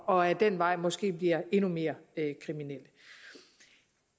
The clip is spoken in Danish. og ad den vej måske bliver endnu mere kriminelle